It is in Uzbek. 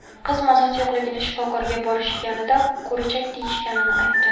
Qiz mazasi yo‘qligini, shifokorga borishganida, ko‘richak deyishganini aytdi.